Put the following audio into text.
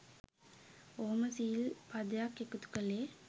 ඔහොම සිල් පදයක් එකතු කලේ.